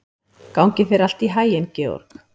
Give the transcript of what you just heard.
Gangi þér allt í haginn, Georg.